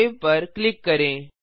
save पर click करें